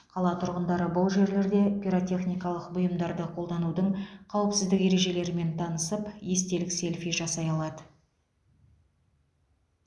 қала тұрғындары бұл жерлерде пиротехникалық бұйымдарды қолданудың қауіпсіздік ережелерімен танысып естелік селфи жасай алады